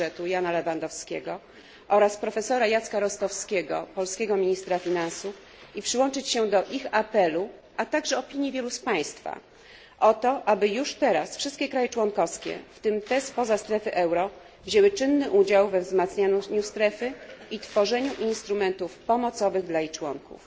budżetu Jana Lewandowskiego oraz profesora Jacka Rostowskiego, polskiego ministra finansów, i przyłączyć się do ich apelu, a także opinii wielu z państwa, o to, aby już teraz wszystkie kraje członkowskie, w tym te spoza strefy euro, wzięły czynny udział we wzmacnianiu strefy i tworzeniu instrumentów pomocowych dla jej członków.